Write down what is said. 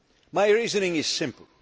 States. My reasoning is